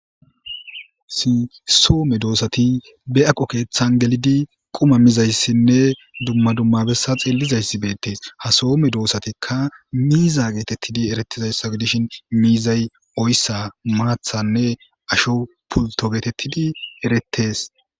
sinsoome doossati be aqo keeththan gelidi qoma mizayssinne dumma dummabessa xeellizayssi beettees ha soome doosatikka miiza geetettidi erettizayssa dishin miizay oyssa maathanne asho pulto geetettidi eretes